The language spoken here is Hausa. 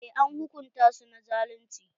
Eh, an hukunta su na zalunci.